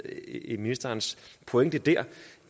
i ministerens pointe der